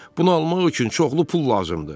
Bunu almaq üçün çoxlu pul lazımdır.